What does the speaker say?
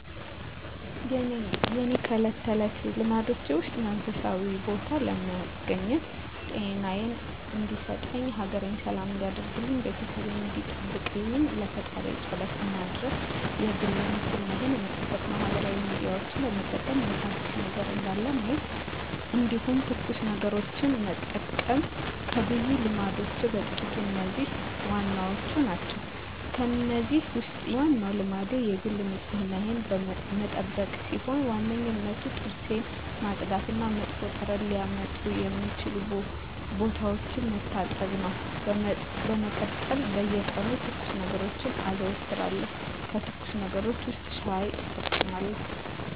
የእኔ ከእለት ተለት ልማዶቼ ውስጥ መንፈሳዊ ቦታ በመገኘት ጤናየን እንዲሰጠኝ፣ ሀገሬን ሰላም እንዲያደርግልኝ፣ ቤተሰቤን እንዲጠብቅልኝ ለፈጣሪየ ፀሎት መድረስ የግል ንፅህናየን መጠበቅ ማህበራዊ ሚዲያዎችን በመጠቀም ምን አዲስ ነገር እንዳለ ማየት እንዲሁም ትኩስ ነገሮችን መጠቀም ከብዙ ልማዶቼ በጥቂቱ እነዚህ ዋናዎቹ ናቸው። ከእነዚህ ውስጥ የኔ ዋናው ልማዴ የግል ንፅህናዬን መጠበቅ ሲሆን በዋነኝነት ጥርሴን ማፅዳት እና መጥፎ ጠረን ሊያመጡ የሚችሉ ቦታዎችን መታጠብ ነው። በመቀጠል በየቀኑ ትኩስ ነገሮችን አዘወትራለሁ ከትኩስ ነገሮች ውስጥ ሻይ እጠቀማለሁ።